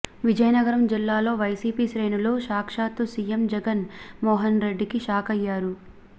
విజయనగరం జిల్లాలో వైసీపీ శ్రేణులు సాక్షాత్తు సీఎం జగన్ మోహన్ రెడ్డికి షాక్ అయ్యారు